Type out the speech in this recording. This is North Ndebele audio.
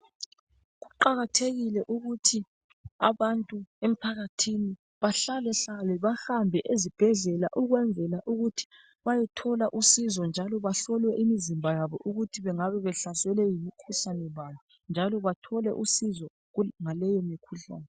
Kuqakathekile ukuthi abantu emphakathini bahlale hlale bahambe ezibhedlela ukwenzela ukuthi bayethola uncedo njalo bahlolwe imizimba yabo ukuthi bengabe behlaselwe ngumkhuhlane bani njalo bathole uncedo ngaleyo mikhuhlane.